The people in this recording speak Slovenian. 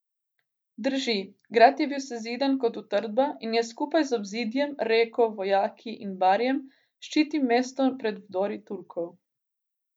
Drži, grad je bil sezidan kot utrdba in je skupaj z obzidjem, reko, vojaki in barjem ščitil mesto pred vdori Turkov.